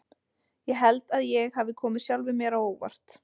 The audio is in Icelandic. Ég held að ég hafi komið sjálfum mér á óvart.